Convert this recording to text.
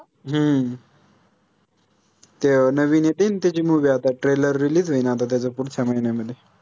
हम्म ते अं नवीन येते आहे न त्याची movie आता trailerrelease होईन आता त्याचा पुढच्या महिन्यामध्ये